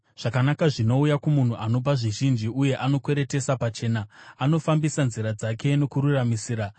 Zvakanaka zvinouya kumunhu anopa zvizhinji uye anokweretesa pachena, anofambisa nzira dzake nokururamisira.